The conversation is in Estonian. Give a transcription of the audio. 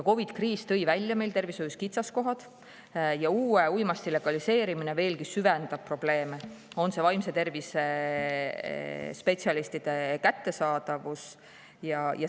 COVID-i kriis tõi välja meie tervishoiu kitsaskohad ja uue uimasti legaliseerimine veelgi süvendaks probleeme, näiteks vaimse tervise spetsialistide abi kättesaadavust.